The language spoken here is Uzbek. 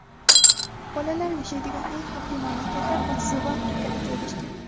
bolalar yashaydigan eng xavfli mamlakatlar Osiyo va Afrikada joylashgan.